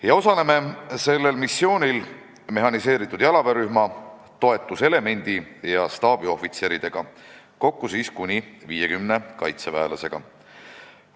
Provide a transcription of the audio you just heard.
Me osaleme sellel missioonil mehhaniseeritud jalaväerühma, toetuselemendi ja staabiohvitseridega – kokku kuni 50 kaitseväelasega.